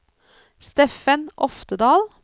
Steffen Oftedal